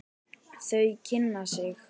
Þau kynna sig.